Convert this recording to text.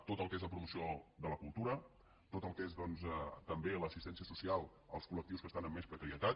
tot el que és la promoció de la cultura tot el que és doncs també l’assistència social als col·lectius que estan amb més precarietat